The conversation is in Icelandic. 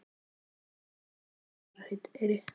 Gefðu nú móður þinni einn koss í farareyri!